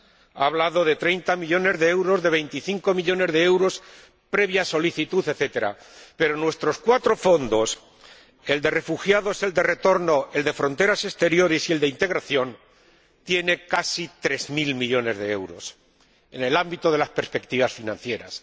Ha hablado de treinta millones de euros, de veinticinco millones de euros, previa solicitud, etcétera. Pero nuestros cuatro Fondos, el de Refugiados, el de Retorno, el de Fronteras Exteriores y el de Integración, contienen casi tres mil millones de euros en el ámbito de las perspectivas financieras.